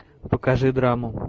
покажи драму